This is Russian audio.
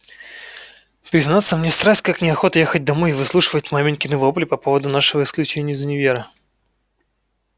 признаться мне страсть как неохота ехать домой и выслушивать маменькины вопли по поводу нашего исключения из универа